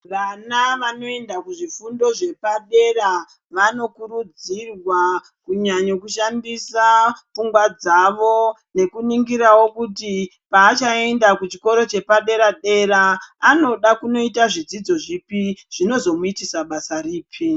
Vana vanoenda kuzvifundo zvepadera vanokurudzirwa kunyanyo kushandisa pfungwa dzavo nekuningirawo kuti paachaenda kuchikoro chepadera-dera anoda kunoita zvidzidzo zvipi, zvinomuitisa basa ripi.